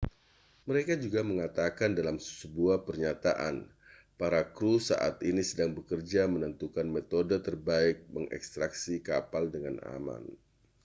mereka juga mengatakan dalam sebuah pernyataan para kru saat ini sedang bekerja menentukan metode terbaik untuk mengekstraksi kapal dengan aman